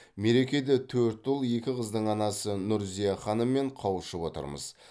мерекеде төрт ұл екі қыздың анасы нұрзия ханыммен қауышып отырмыз